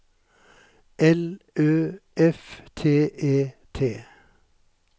L Ø F T E T